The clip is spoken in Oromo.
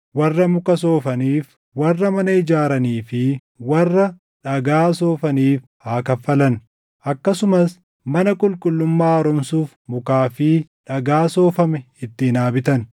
warra muka soofaniif, warra mana ijaaranii fi warra dhagaa soofaniif haa kaffalan. Akkasumas mana qulqullummaa haaromsuuf mukaa fi dhagaa soofame ittiin haa bitan.